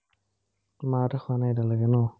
মাহঁতে খোৱা নাই এতিয়ালৈকে ন?